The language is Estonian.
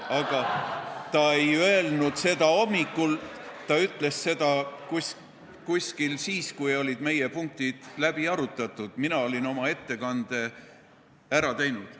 Aga ta ei öelnud seda hommikul, ta ütles seda siis, kui meie punktid olid läbi arutatud, mina olin oma ettekande ära teinud.